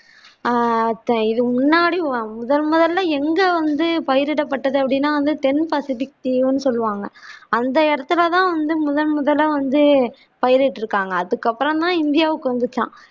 ஆஹ் அதுதான் இது முன்னாடி முதல் முதல்ல எங்க வந்து பயிரிடப்பட்டது அப்படின்னா சொல்லுவாங்க அந்த இடத்தில தான் வந்து முதன் முதலா வந்து பயிர் இட்டிருக்காங்க அதுக்கு அப்புறம் தான் இந்தியாவுக்கு வந்திச்சாம்